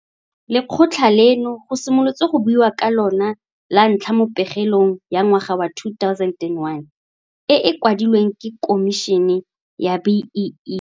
Lekgotla leno go simolotswe go buiwa ka lona lantlha mo pegelong ya ngwaga wa 2001 e e kwadilweng ke Khomišene ya BEE.